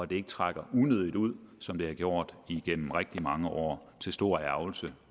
den ikke trækker unødigt ud som den har gjort igennem rigtig mange år til stor ærgrelse